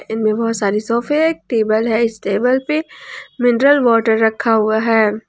इनमें बहुत सारे सोफे एक टेबल है इस टेबल पे मिनरल वाटर रखा हुआ है।